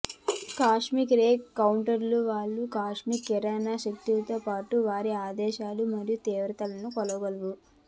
cosmic ray కౌంటర్లు వారు cosmic కిరణాల శక్తితో పాటు వారి ఆదేశాలు మరియు తీవ్రతలను కొలవగలవు